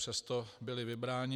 Přesto byla vybrána.